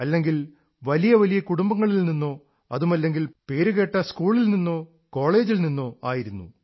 അല്ലെങ്കിൽ വലിയ വലിയ കുടുംബങ്ങളിൽ നിന്നോ അതുമല്ലെങ്കിൽ പേരുകേട്ട് സ്കൂളിൽ നിന്നോ കോളജിൽ നിന്നോ ആയിരുന്നു